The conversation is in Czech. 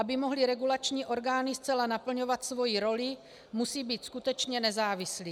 Aby mohly regulační orgány zcela naplňovat svoji roli, musí být skutečně nezávislé.